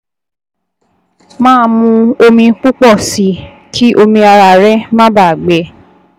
Máa mu omi púpọ̀ sí i kí omi ara rẹ má baà gbẹ